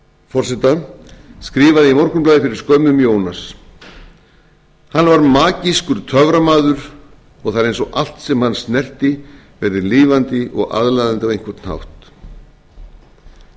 forseta skrifaði í morgunblaðið fyrir skömmu um jónas hann var magískur töframaður og það er eins og allt sem hann snerti verði lifandi og aðlaðandi á einhvern hátt